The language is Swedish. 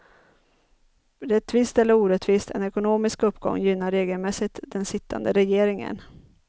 Rättvist eller orättvist, en ekonomisk uppgång gynnar regelmässigt den sittande regeringen.